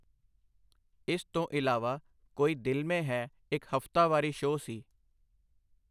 ਇਸ ਤੋਂ ਇਲਾਵਾ ਕੋਈ ਦਿਲ ਮੇਂ ਹੈ ਇੱਕ ਹਫਤਾਵਾਰੀ ਸ਼ੋਅ ਸੀ।